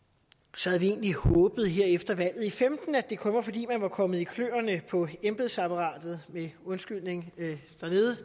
så havde vi egentlig håbet her efter valget i femten at det kun var fordi man var kommet i kløerne på embedsapparatet undskyld